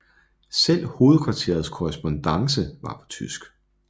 Selv hovedkvarterets korrespondance var på tysk